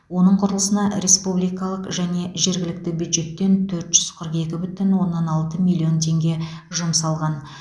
оның құрылысына республикалық және жергілікті бюджеттен төрт жүз қырық екі бүтін оннан алты миллион теңге жұмсалған